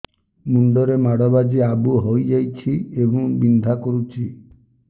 ମୁଣ୍ଡ ରେ ମାଡ ବାଜି ଆବୁ ହଇଯାଇଛି ଏବଂ ବିନ୍ଧା କରୁଛି